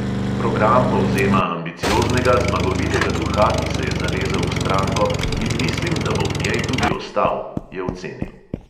"Program povzema ambicioznega, zmagovitega duha, ki se je zalezel v stranko, in mislim, da bo v njej tudi ostal," je ocenil.